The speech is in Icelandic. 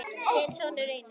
þinn sonur, Reynir.